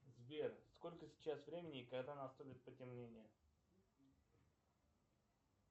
сбер сколько сейчас времени и когда наступит потемнение